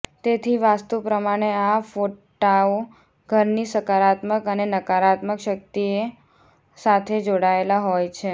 તેથી વાસ્તુ પ્રમાણે આ ફોટાઓ ઘરની સકારાત્મક અને નકારાત્મક શકિતઓ સાથે જોડાયેલા હોય છે